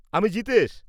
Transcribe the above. -আমি জিতেশ।